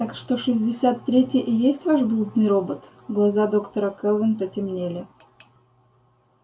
так что шестьдесят третий и есть ваш блудный робот глаза доктора кэлвин потемнели